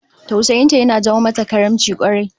Tausayin ta yana jawo mata karimci kwarai